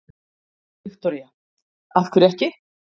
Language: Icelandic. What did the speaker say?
Viktoría: Af hverju ekki?